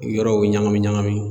Yɔrɔw ɲagami ɲagami